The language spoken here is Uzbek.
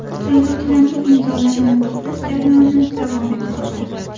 Saylovchilarning imzolarini to‘plash jarayoni davom etmoqda.